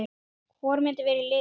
Hvor myndi vera í liðinu?